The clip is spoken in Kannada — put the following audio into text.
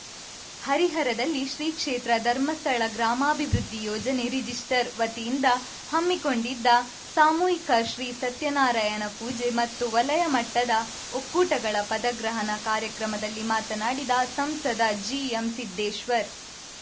ಹರಿಹರದಲ್ಲಿ ಶ್ರೀ ಕ್ಷೇತ್ರ ಧರ್ಮಸ್ಥಳ ಗ್ರಾಮಾಭಿವೃದ್ಧಿ ಯೋಜನೆರಿಜಿಸ್ಟರ್ ವತಿಯಿಂದ ಹಮ್ಮಿಕೊಂಡಿದ್ದ ಸಾಮೂಹಿಕ ಶ್ರೀ ಸತ್ಯನಾರಾಯಣ ಪೂಜೆ ಮತ್ತು ವಲಯ ಮಟ್ಟದ ಒಕ್ಕೂಟಗಳ ಪದಗ್ರಹಣ ಕಾರ್ಯಕ್ರಮದಲ್ಲಿ ಮಾತನಾಡಿದ ಸಂಸದ ಜಿಎಂ ಸಿದ್ದೇಶ್ವರ್‌